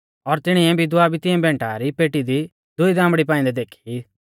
और तिणीऐ विधवा भी तिऐ भैंटा री पेटी दी दुई दामड़ी पाइंदै देखी